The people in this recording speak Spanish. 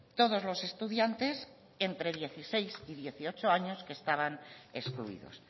todos los estudiantes entre dieciséis y dieciocho años que estaban excluidos